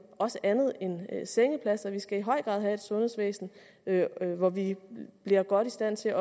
også andet end af sengepladser vi skal i høj grad have et sundhedsvæsen hvor vi bliver godt i stand til